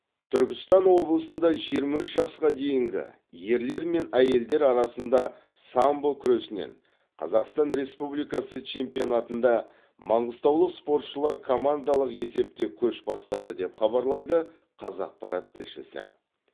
түркістан облысында жиырма үш жасқа дейінгі ерлер мен әйелдер арасында самбо күресінен қазақстан республикасы чемпионатында маңғыстаулық спортшылар командалық есепте көш бастады деп хабарлайды қазақпарат тілшісі